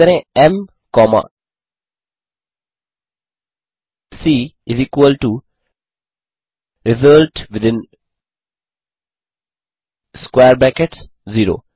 type करें M comma C result within square brackets 0